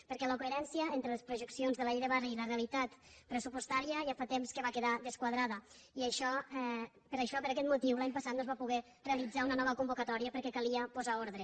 perquè la coherència entre les projeccions de la llei de barris i la realitat pressupostària ja fa temps que va quedar desquadrada i per això per aquest motiu l’any passat no es va poder realitzar una nova convocatòria perquè calia posar ordre